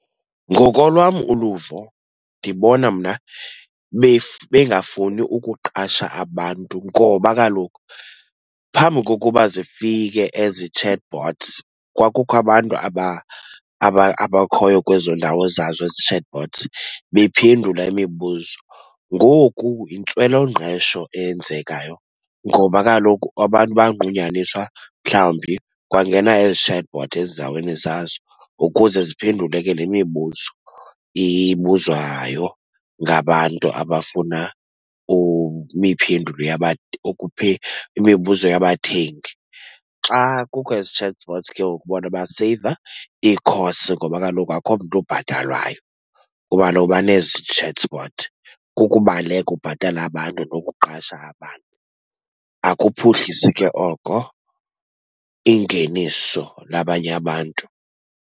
Ngokolwam uluvo ndibona mna bengafuni ukuqasha abantu ngoba kaloku phambi kokuba zifike ezi chatbots kwakukho abantu abakhoyo kwezo ndawo zazo ezi chatbots, bephendula imibuzo. Ngoku yintswelongqesho eyenzekayo ngoba kaloku abantu banqunyaniswa mhlawumbi kwangena ezi chatbot ezindaweni zazo ukuze ziphendule ke le mibuzo ibuzwayo ngabantu abafuna imibuzo yabathengi. Xa kukho ezi chatbots ke ngoku bona baseyiva ii-costs ngoba kaloku akukho mntu obhatalwayo kuba kaloku banezi chatbots. Kukubaleka ubhatala abantu nokuqasha abantu, akuphuhlisi ke oko ingeniso labanye abantu.